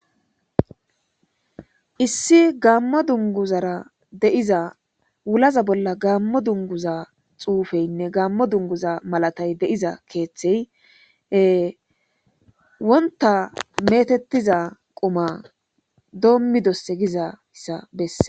Issi gaammo dunguzara deiza wulaza bolla gammo dunguza xuufeynne gammo dunguza malatay deiza keeththey wonta metettiza quma doommidosse gizayssa besse.